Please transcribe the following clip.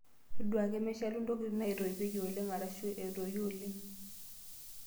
Todua ake meshalu ntokitin naitoipieki oleng' arashu eetoyu oleng'.